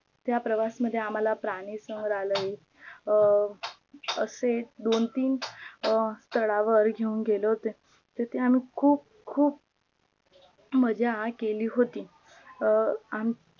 त्या प्रवास मध्ये प्राणी संग्रहालयात अं असे दोन तीन स्थडावर घेऊन गेले होते तिथे आम्ही खूप खूप मज्जा केली होती